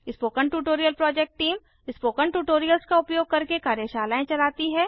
spoken tutorial project team spoken tutorials का उपयोग करके कार्यशालाएं चलाती है